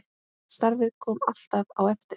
Starfið kom alltaf á eftir.